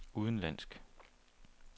udenlandsk